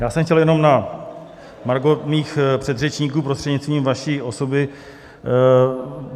Já jsem chtěl jenom na margo mých předřečníků, prostřednictvím vaší osoby.